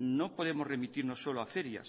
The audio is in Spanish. no podemos remitirnos solo a ferias